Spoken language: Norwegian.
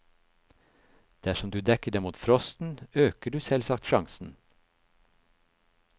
Dersom du dekker dem mot frosten, øker du selvsagt sjansen.